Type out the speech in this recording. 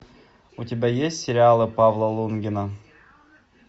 у тебя есть сериалы павла лунгина